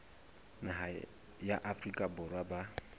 naha ya afrika borwa ba